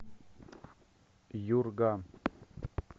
юрга